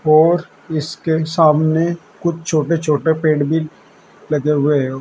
और इसके सामने कुछ छोटे छोटे पेड़ भी लगे हुए हैं।